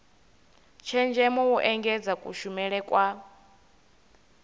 tshenzhemo u engedza kushumele kwa